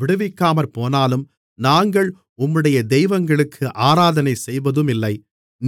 விடுவிக்காமற்போனாலும் நாங்கள் உம்முடைய தெய்வங்களுக்கு ஆராதனை செய்வதுமில்லை